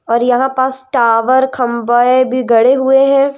और यहां पास टावर खंबे भी गड़े हुए हैं।